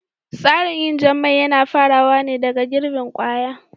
Tsarin yin jan mai yana farawa ne daga girbin kwaya